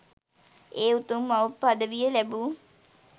ඒ උතුම් මව් පදවිය ලැබූ